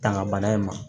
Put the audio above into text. Tanga bana in ma